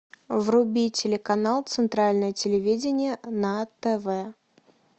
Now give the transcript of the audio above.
вруби телеканал центральное телевидение на тв